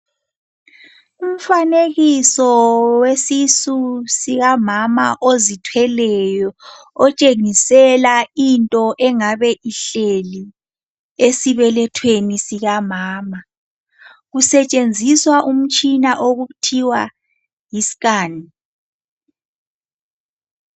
Umfanekiso wesisu sikamama ozithweleyo otshengisela into engabe ihleli esibelethweni sikamama kusetshenziswa umtshina okuthiwa yi scan.